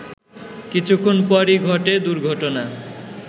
কিছুক্ষণ পরই ঘটে দুর্ঘটনা